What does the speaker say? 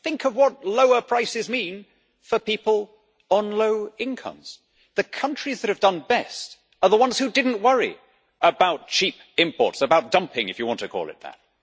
Think of what lower prices mean for people on low incomes! The countries that have done best are the ones who did not worry about cheap imports, about dumping if you want to call it that.